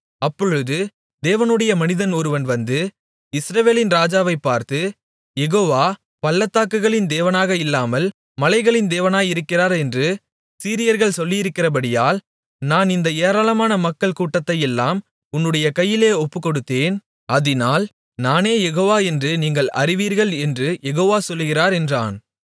அப்பொழுது தேவனுடைய மனிதன் ஒருவன் வந்து இஸ்ரவேலின் ராஜாவைப் பார்த்து யெகோவா பள்ளத்தாக்குகளின் தேவனாக இல்லாமல் மலைகளின் தேவனாயிருக்கிறார் என்று சீரியர்கள் சொல்லியிருக்கிறபடியால் நான் இந்த ஏராளமான மக்கள் கூட்டத்தையெல்லாம் உன்னுடைய கையில் ஒப்புக்கொடுத்தேன் அதினால் நானே யெகோவா என்று நீங்கள் அறிவீர்கள் என்று யெகோவா சொல்லுகிறார் என்றான்